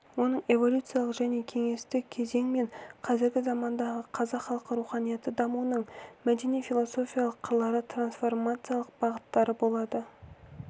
оның эволюциялық және кеңестік кезең мен қазіргі замандағы қазақ халқы руханияты дамуының мәдени-философиялық қырлары трансформациялық бағыттары болады